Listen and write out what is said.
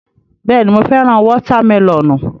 Bẹ́ẹ̀ni, mo fẹ́ràn wọ́tá mẹlọ̀nù.